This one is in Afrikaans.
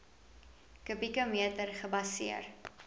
kubieke meter gebaseer